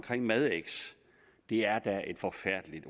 madx det er da et forfærdeligt